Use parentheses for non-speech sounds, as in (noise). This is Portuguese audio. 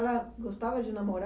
(unintelligible) gostava de namorar?